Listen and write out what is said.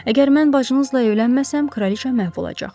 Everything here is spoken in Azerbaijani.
Əgər mən bacınızla evlənməsəm, kraliça məhv olacaq.